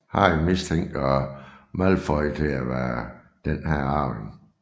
Harry mistænker Malfoy til at være denne arving